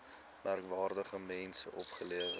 merkwaardige mense opgelewer